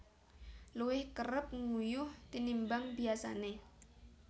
Luwih kerep nguyuh tinimbang biyasané